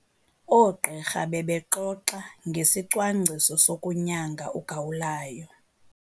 Oogqirha bebexoxa ngesicwangciso sokunyanga ugawulayo.